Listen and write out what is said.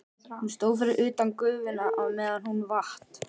Hún stóð fyrir utan gufuna á meðan hún vatt.